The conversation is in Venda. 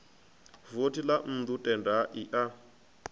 vothi ḽa nnḓu tendai a